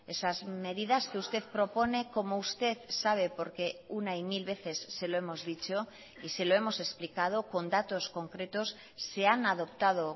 esas medidas que usted propone como usted sabe porque una y mil veces se lo hemos dicho y se lo hemos explicado con datos concretos se han adoptado